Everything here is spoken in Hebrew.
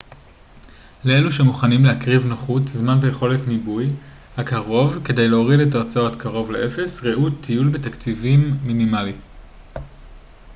לאלו שמוכנים להקריב נוחות זמן ויכולת ניבוי הקרוב כדי להוריד את ההוצאות קרוב לאפס ראו טיול בתקציב מינימלי